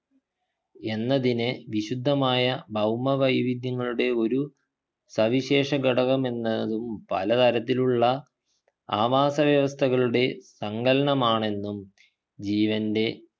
എന്നതിന് വിശുദ്ധമായ ഭൗമവൈവിധ്യങ്ങളുടെ ഒരു സവിശേഷ ഘടകമെന്നതും പല തരത്തിലുള്ള ആവാസ വ്യവസ്ഥകളുടെ സങ്കലനമാണെന്നും ജീവൻ്റെ